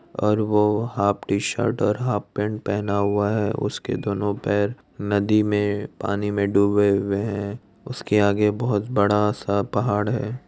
और वो half T shirt और हाफ पेंट पहना हुवा है उसके दोनों पेर नदी मे पानी मे दुबे हुवे है उसके आगे बोहत बडा सा पहाड़ ।